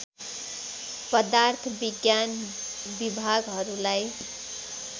पदार्थ विज्ञान विभागहरूलाई